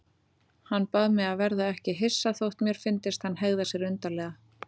Hann bað mig að verða ekki hissa þótt mér fyndist hann hegða sér undarlega.